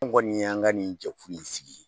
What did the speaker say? An kɔni y'an ka nin jɛkulu in sigi.